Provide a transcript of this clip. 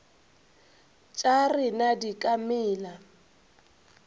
tša rena di ka mela